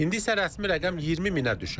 İndi isə rəsmi rəqəm 20 minə düşüb.